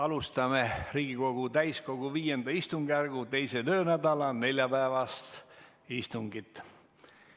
Alustame Riigikogu täiskogu V istungjärgu 2. töönädala neljapäevast istungit.